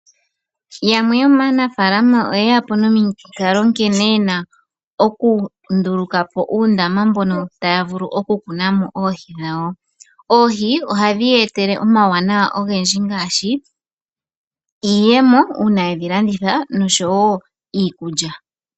Yamwe yomanafalama oye ya po nomikalo nkene yena okundulukapo uundama mbono taya vulu okumuna mo oohi dhawo. Oohi ohadhi ya etele omauwanawa ogendji ngashi iiyemo uuna yedhilandi noshowo iikulya.